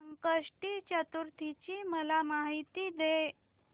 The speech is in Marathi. संकष्टी चतुर्थी ची मला माहिती दे